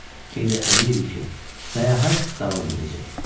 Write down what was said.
İndi əmin idi ki, səyahət davam edəcək.